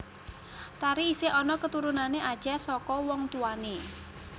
Tari isih ana keturunan Acéh saka wong tuwane